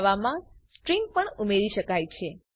જાવામાં સ્ટ્રીંગ્સ પણ ઉમેરી શકાય છે